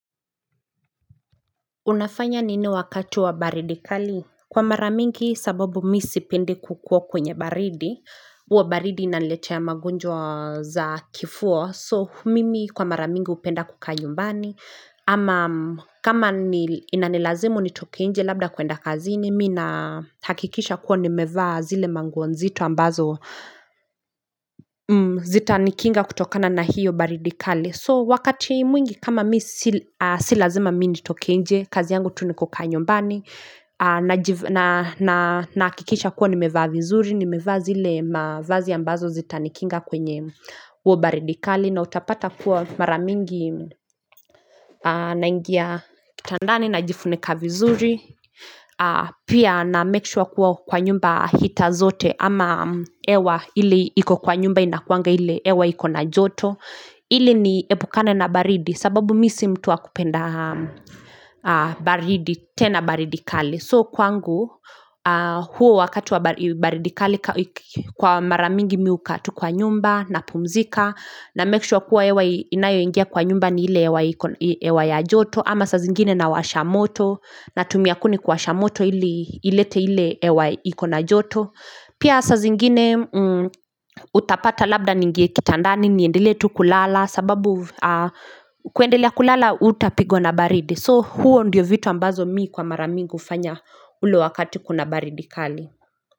Unafanya nini wakati wa baridikali? Kwa maramingi sababu mi sipende kukuo kwenye baridi, uwa baridi inaletea magunjwa za kifua, so mimi kwa maramingi upenda kuka nyumbani, ama kama inanilazimu nitoke nje labda kuenda kazini, mi nahakikisha kuwa ni mevaa zile manguo nzito ambazo zita nikinga kutokana na hiyo baridikali. So wakati mwingi kama mi si lazima mi nitoke nje kazi yangu tu nikuka nyumbani nakikisha kuwa nimevaa vizuri ni mevaa zile mavazi ya ambazo zitanikinga kwenye uo baridikali na utapata kuwa maramingi naingia kitandani najifunika vizuri Pia namake sure kuwa kwa nyumba heater zote Ama ewa ili iko kwa nyumba inakuanga ili ewa iko na joto Hili ni epukane na baridi sababu mi si mtu wa kupenda baridi tena baridi kali So kwangu huo wakati wa baridi kali kwa maramingi mi huka tu kwa nyumba na pumzika na make sure kuwa hewa inayoingia kwa nyumba ni ile ewa ya joto Ama sa zingine nawashamoto na tumia kuni kuwashamoto ilete ile ewa ikona joto Pia sa zingine utapata labda ningie kitandani niendele tu kulala sababu kuendelea kulala utapigwa na baridi So huo ndiyo vitu ambazo mii kwa maramingu ufanya ulo wakati kuna baridi kali.